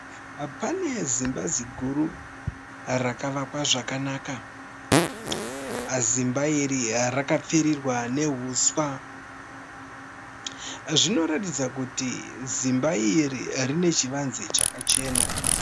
Pane zimba ziguru rakavakwa zvakanaka. Zimba iri rakapfirirwa nehuswa. Zvinoratidza kuti zimba iri rine chivanze chaka chena.